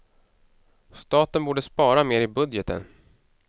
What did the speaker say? Staten borde spara mer i budgeten.